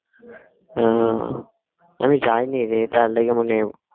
আহ আমি যাইনি রে তার লেগে মনে হয় ও